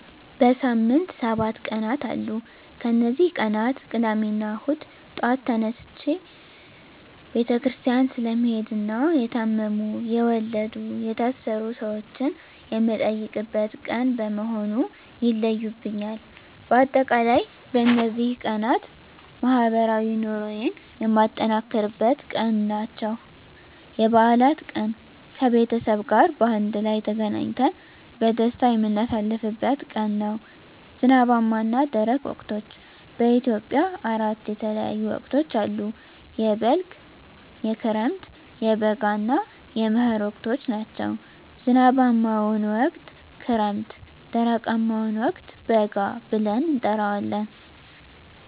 በሳምንት ሰባት ቀናት አሉ ከነዚህ ቀናት ቅዳሜና እሁድ ጧት ተነስቸ ቤተክርስቲያን ስለምሄድና የታመሙ፣ የወለዱ፣ የታሰሩ ሰወችን የምጠይቅበት ቀን በመሆኑ ይለዩብኛል። በአጠቃላይ በነዚህ ቀናት ማህበራዊ ኑሮየን የማጠናክርበት ቀን ናቸው። *የበዓላት ቀን፦ ከቤተሰብ ጋር በአንድ ላይ ተገናኝተን በደስታ የምናሳልፍበት ቀን ነው። *ዝናባማና ደረቅ ወቅቶች፦ በኢትዮጵያ አራት የተለያዩ ወቅቶች አሉ፤ የበልግ፣ የክረምት፣ የበጋ እና የመህር ወቅቶች ናቸው። *ዝናባማውን ወቅት ክረምት *ደረቃማውን ወቅት በጋ ብለን እንጠራዋለን።